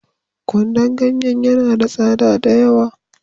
Kwandon ganyen ya na da tsada da yawa